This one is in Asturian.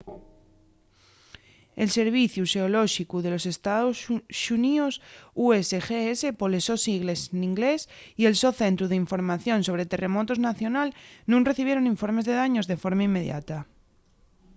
el serviciu xeolóxicu de los estaos xuníos usgs poles sos sigles n’inglés y el so centru d’información sobre terremotos nacional nun recibieron informes de daños de forma inmediata